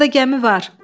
Orda gəmi var.